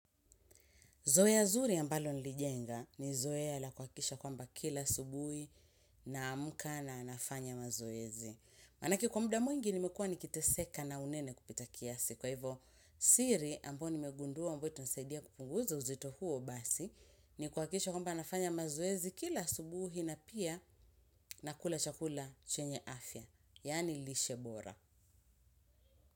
Zoea zuri ambalo nilijenga ni zoea la kuhakikisha kwamba kila asubuhi naamka na nafanya mazoezi. Manake kwa mda mwingi nimekua nikiteseka na unene kupita kiasi. Kwa hivo siri ambayo nimegundua ambayo itanisaidia kupunguza uzito huo basi ni kuhakikisha kwamba nafanya mazoezi kila asubuhi na pia nakula chakula chenye afya. Yaani lishe bora.